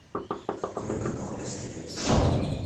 открой канал стс